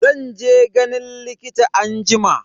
Zan je ganin likita anjima.